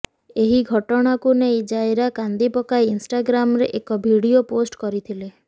ଏହି ଘଟଣାକୁ ନେଇ ଜାଇରା କାନ୍ଦି ପକାଇ ଇନଷ୍ଟାଗ୍ରାମରେଏକ ଭିଡିଓ ପୋଷ୍ଟ କରିଥିଲେ